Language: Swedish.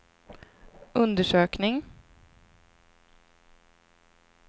undersökning